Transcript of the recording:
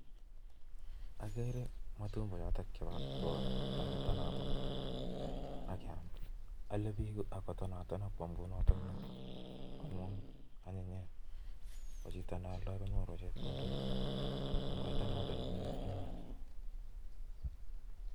Ageree abutanik ab Tuga Che amii biiik Che kakiton aton. ame biik.si gobit kobiyo